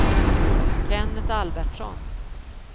Kennet Albertsson